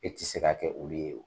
E tɛ se ka kɛ olu ye.